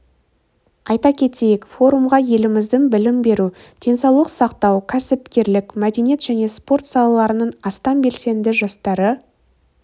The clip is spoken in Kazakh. айта кетейік форумға еліміздің білім беру денсаулық сақтау кәсіпкерлік мәдениет және спорт салаларының астам белсенді жастары